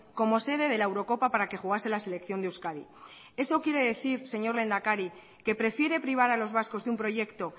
como sede de la eurocopa para que jugase la selección de euskadi eso quiere decir señor lehendakari que prefiere privar a los vascos de un proyecto